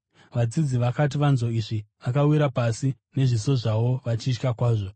Vadzidzi vakati vanzwa izvi, vakawira pasi nezviso zvavo vachitya kwazvo.